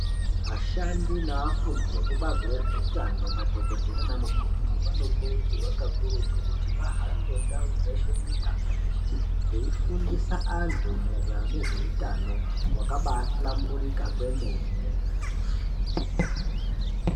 Vashandi nevafundi vekubazi rezvehutano madhokodheya nana mukoti vanokurudzirwa kakurutu kuti vahambe ndau dzeshe mumiganga yeshe veifundisa antu maererano nezvehutano wakabahlamburika kwemene.